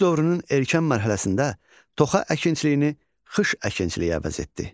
Tunc dövrünün erkən mərhələsində toxa əkinçiliyini xış əkinçiliyi əvəz etdi.